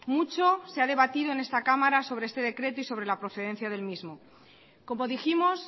mucho se ha debatido en esta cámara sobre este decreto y sobre la procedencia de él mismo como dijimos